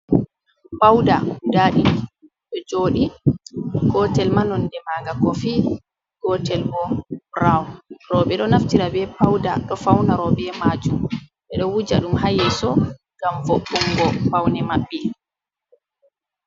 "Pauɗa" guda ɗidi ɗo joɗi gotel ma nonɗe maga kofi gotel ɓo brawn. Roɓe ɗo naftira be pauda ɗo fauna roɓe majum ɓe ɗo wuja ɗum ha yeso ngam vo'ungo paune maɓɓe.